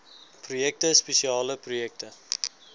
projekte spesiale projekte